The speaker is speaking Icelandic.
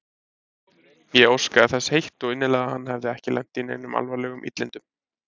Ég óskaði þess heitt og innilega að hann hefði ekki lent í neinum alvarlegum illindum.